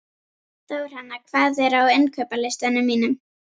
Þórhanna, hvað er á innkaupalistanum mínum?